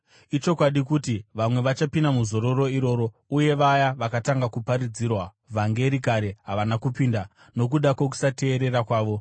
Ichokwadi kuti vamwe vachapinda muzororo iroro, uye vaya vakatanga kuparidzirwa vhangeri kare havana kupinda, nokuda kwokusateerera kwavo.